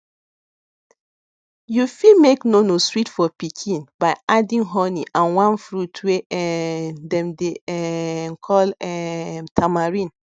you fit make nono sweet for pikin by adding honey and one fruit wey um dem dey um call um tamarind